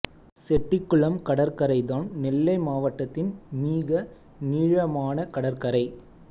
செட்டிகுளம் கடற்கரை தான் நெல்லை மாவட்டத்தின் மீக நீழமான கடற்கரை